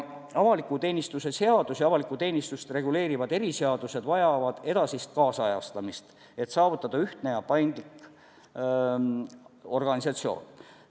Avaliku teenistuse seadus ja avalikku teenistust reguleerivad eriseadused vajavad edasist kaasajastamist, et saavutada ühtne ja paindlik organisatsioon.